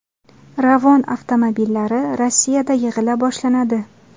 Ravon avtomobillari Rossiyada yig‘ila boshlanadi.